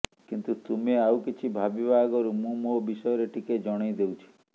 କିନ୍ତୁ ତୁମେ ଆଉ କିଛି ଭାବିବା ଆଗରୁ ମୁଁ ମୋ ବିଷୟରେ ଟିକେ ଜଣେଇ ଦେଉଛି